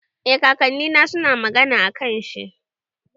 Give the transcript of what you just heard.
Eh, kakannina suna magana akan shi.